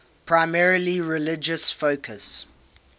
primarily religious focus